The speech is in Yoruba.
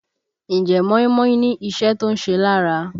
Ǹjẹ́ móímóí ní iṣẹ́ tó ń ṣe lára?